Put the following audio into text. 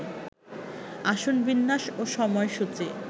আসন বিন্যাস ও সময়সূচি